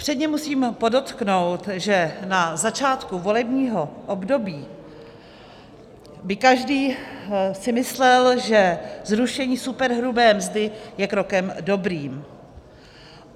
Předně musím podotknout, že na začátku volebního období by si každý myslel, že zrušení superhrubé mzdy je krokem dobrým.